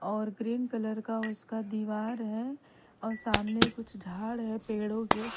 और green colour का उसका दीवार है और सामने कुछ झाड़ हैं पेड़ो के--